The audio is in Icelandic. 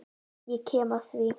Ég kem að því.